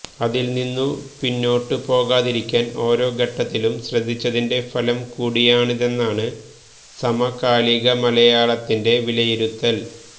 അതില് നിന്നു പിന്നോട്ടു പോകാതിരിക്കാന് ഓരോ ഘട്ടത്തിലും ശ്രദ്ധിച്ചതിന്റെ ഫലം കൂടിയാണിതെന്നാണ് സമകാലിക മലയാളത്തിന്റെ വിലയിരുത്തല്